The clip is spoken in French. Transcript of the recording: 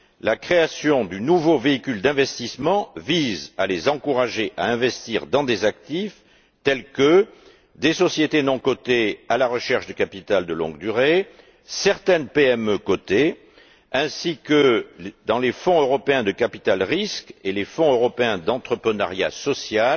La création du nouveau véhicule d'investissement vise à les encourager à investir dans des actifs tels que des sociétés non cotées à la recherche de capital de longue durée, certaines PME cotées, ainsi que les fonds européens de capital risque et les fonds européens d'entrepreneuriat social